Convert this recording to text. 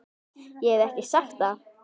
Ég hef ekki sagt það!